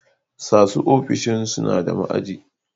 sasu ofishin sunada ma'aji